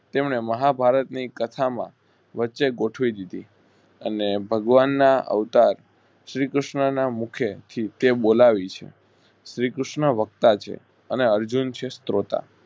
તેમણે મહા ભારત ની કથામાં વચ્ચે જોઠવી દીધી અને ભગવાન ના અવતાર શ્રી કૃષ્ણના મુખે થી તે બોલાવી છે. શ્રી કૃષ્ણ વક્તા છે અને અર્જુન છે સ્ત્રોતા